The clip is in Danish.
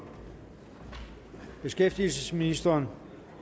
beskæftigelsesministeren